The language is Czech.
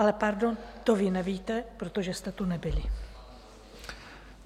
Ale pardon, to vy nevíte, protože jste tu nebyli.